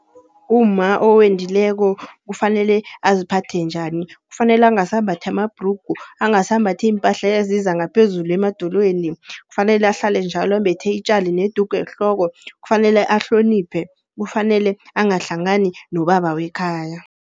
Umma owendileko kufanele aziphathe njani? Kufanele angasambathi amabhrugu, angasambathi iimpahla eziza ngaphezulu emadolweni. Kufanele ahlale njalo ambethe itjali nedugu ehloko, kufanele ahloniphe, kufanele angahlangani nobaba wekhaya.